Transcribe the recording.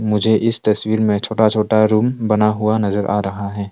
मुझे इस तस्वीर में छोटा छोटा रूम बना हुआ नजर आ रहा है।